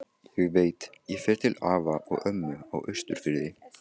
Ég veit, ég fer til afa og ömmu á Austurfirði